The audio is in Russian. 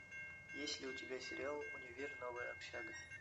есть ли у тебя сериал универ новая общага